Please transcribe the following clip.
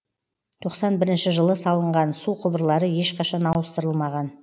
тоқсан бірінші жылы салынған су құбырлары ешқашан ауыстырылмаған